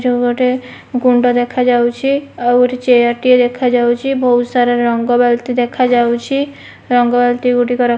ଯୋଉ ଗୋଟେ ଗୁଣ୍ଡ ଦେଖା ଯାଉଚି ଆଉ ଏଠି ଚେୟାର ଟିଏ ଦେଖା ଯାଉଚି ରଙ୍ଗ ବାଲ୍ଟି ଦେଖା ଯାଉଚି ରଙ୍ଗ ବାଲ୍ଟି ଗୁଡ଼ିକ ର --